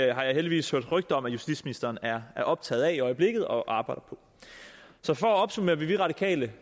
jeg heldigvis hørt rygter om at justitsministeren er er optaget af i øjeblikket og arbejder på så for at opsummere vi radikale